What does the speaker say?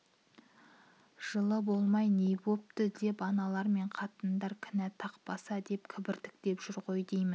жылы болмай не бопты деп аналар мен қатындар кінә тақпаса деп кібіртіктеп жүр ғой деймін